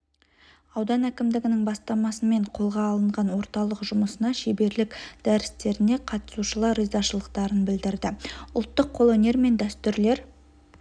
аудан әкімдігінің бастамасымен қолға алынған орталық жұмысына шеберлік дәрістеріне қатысушылар ризашылықтарын білдірді ұлттық қолөнер мен дәстүрлер